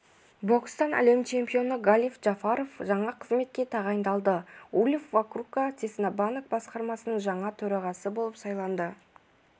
бокстан әлем чемпионы галиб джафаров жаңа қызметке тағайындалды ульф вокурка цеснабанк басқармасының жаңа төрағасы болып сайланды